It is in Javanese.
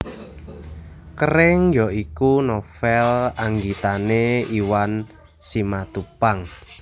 Kering ya iku novel anggitane Iwan Simatupang